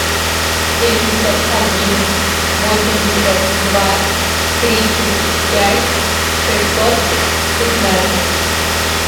семьдесят один восемьдесят два тридцать пять шестьсот пятнадцать